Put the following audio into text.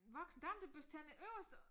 Voksen dame der børster tænder øverst